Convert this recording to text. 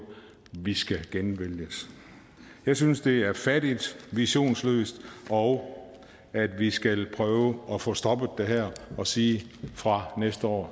vi skal genvælges jeg synes det er fattigt visionsløst og at vi skal prøve at få stoppet det her og sige fra næste år